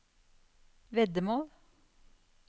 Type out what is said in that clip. veddemål